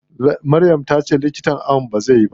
Maryam tace likitan ayon bai zai ba.